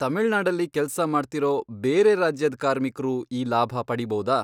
ತಮಿಳ್ನಾಡಲ್ಲಿ ಕೆಲ್ಸ ಮಾಡ್ತಿರೋ ಬೇರೆ ರಾಜ್ಯದ್ ಕಾರ್ಮಿಕ್ರು ಈ ಲಾಭ ಪಡೀಬೌದಾ?